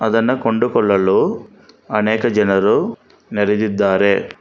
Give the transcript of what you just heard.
ಅದನ್ನ ಕೊಂಡುಕೊಳ್ಳಲು ಅನೇಕ ಜನರು ನೆರೆದಿದ್ದಾರೆ.